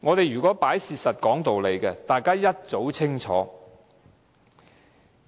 如果我們看事實和講道理，大家早已清楚。